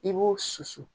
I b'o susu